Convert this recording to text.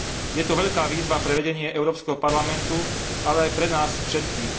Je to veľká úloha pre vedenie Európskeho parlamentu, ale aj pre nás všetkých.